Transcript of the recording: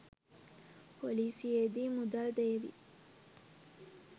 පොලිසියේදි මුදල් දේවි